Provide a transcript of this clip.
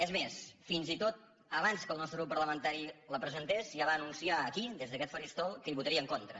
és més fins i tot abans que el nostre grup parlamentari la presentés ja va anunciar aquí des d’aquest faristol que hi votaria en contra